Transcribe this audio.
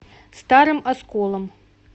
старым осколом